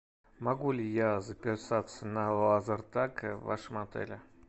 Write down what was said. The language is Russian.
могу ли я записаться на лазертаг в вашем отеле